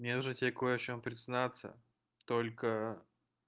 мне нужно тебе в кое чем признаться только